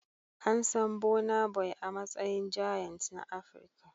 An san Burna Boy a matsayin giant na Afirka.